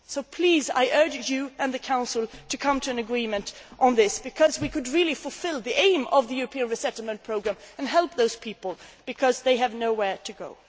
acts. So please, I urge you and the Council to come to an agreement on this, because we could really fulfil the aim of the European resettlement programme and help those people, because they have nowhere